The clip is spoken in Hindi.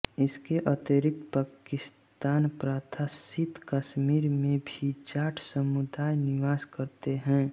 इसके अतिरिक्त पाकिस्तानप्रशासित कश्मीर में भी जाट समुदाय निवास करते हैं